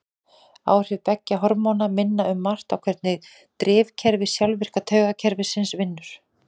Áhrif beggja hormóna minna um margt á hvernig drifkerfi sjálfvirka taugakerfisins vinnur.